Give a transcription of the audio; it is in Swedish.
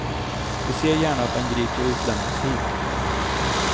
Vi ser gärna att han grips och utlämnas hit.